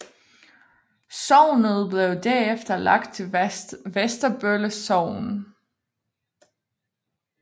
Sognet blev derefter lagt til Vesterbølle Sogn